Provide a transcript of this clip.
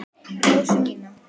Rósu mína.